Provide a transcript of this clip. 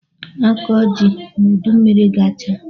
A ga-akọ ji ma udummiri gachaa